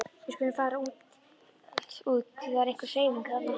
Við skulum fara út því það er einhver hreyfing þarna.